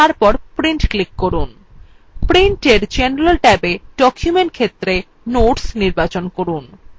print in general ট্যাবে document ক্ষেত্রে notes নির্বাচন করুন